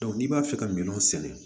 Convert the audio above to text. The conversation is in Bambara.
n'i b'a fɛ ka min sɛnɛ